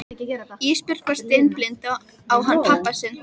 Ísbjörg var steinblind á hann pabba sinn.